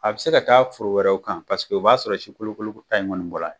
A bɛ se ka taa foro wɛrɛw kan paseke o b'a sɔrɔ si kolo kolo ta in kɔni bɔra.